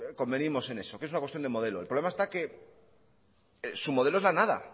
convenimos en eso que es una cuestión de modelo el problema está que su modelo es la nada